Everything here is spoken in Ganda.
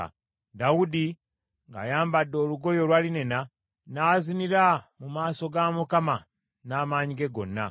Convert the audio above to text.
Dawudi ng’ayambadde olugoye olwa linena, n’azinira mu maaso ga Mukama n’amaanyi ge gonna.